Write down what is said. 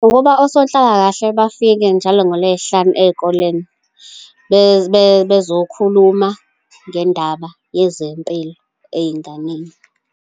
Ngoba osonhlalakahle bafike njalo ngoLwezihlanu ey'koleni, bezokhuluma ngendaba yezempilo ey'nganeni.